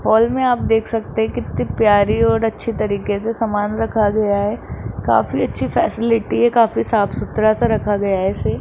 hall में आप देख सकते कितनी प्यारी और अच्छी तरीके से सामान रखा गया है काफी अच्छी फैसिलिटी है काफी साफ-सुथरा सा रखा गया है इसे --